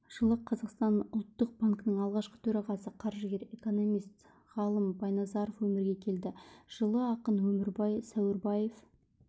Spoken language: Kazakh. жылы қазақстан ұлттық банкінің алғашқы төрағасы қаржыгер экономист ғалым байназаров өмірге келді жылы ақын өмірбай сәуірбаев